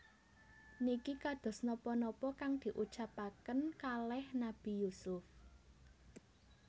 Niki kados nopo nopo kang diucapaken kaleh Nabi Yusuf